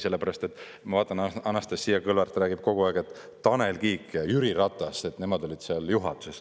Sellepärast et ma vaatan, et Anastassia Kõlvart räägib kogu aeg, et Tanel Kiik ja Jüri Ratas, nemad olid seal juhatuses.